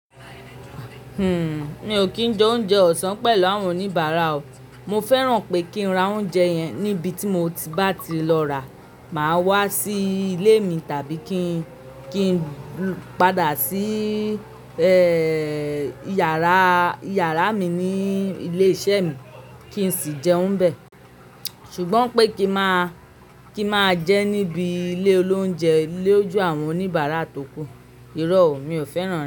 Hmmm. Mi ò kí ń jẹ oúnjẹ ọ̀sán pẹ̀lú àwọn oníbàárà o. Mo fẹ́ràn pé kí ń ra oúnjẹ yẹn níbi tí mo ti bá ti lọ rà, màá wá sí ilé mi tàbí kí n padà sí, yàrá, yàrá mi ní ilé-iṣẹ́ mi kí n sì jẹun bẹ. Ṣùgbọ́n pé kí n máa jẹe níbi ilé oloúnjẹ lójú àwọn oníbàárà tókù, irọ́ o, mi ò fẹ́ràn re.